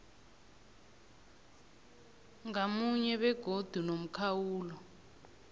ngamunye begodu nomkhawulo